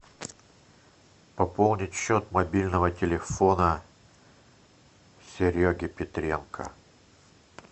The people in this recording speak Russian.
пополнить счет мобильного телефона сереги петренко